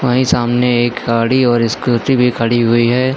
वहीं सामने एक गाड़ी और स्कूटी भी खड़ी हुई है।